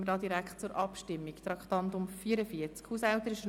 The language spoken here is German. Somit kommen wir direkt zur Abstimmung von Traktandum 44: